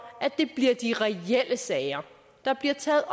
at det bliver de reelle sager der bliver taget